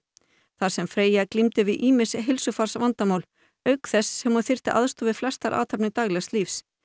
þar sem Freyja glímdi við ýmis heilsufarsvandamál auk þess sem hún þyrfti aðstoð við flestar athafnir daglegs lífs